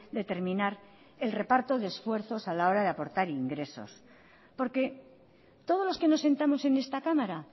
determinar el reparto de esfuerzos a la hora de aportar ingresos porque todos los que nos sentamos en esta cámara